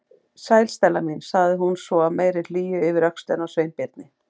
Sæl, Stella mín- sagði hún svo af meiri hlýju yfir öxlina á Sveinbirni.